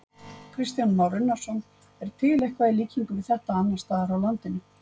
Kristján Már Unnarsson: Er til eitthvað í líkingu við þetta annarsstaðar á landinu?